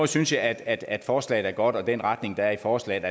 synes jeg at at forslaget er godt og at den retning der er i forslaget